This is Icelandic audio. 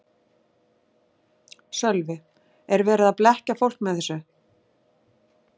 Sölvi: Er verið að blekkja fólk með þessu?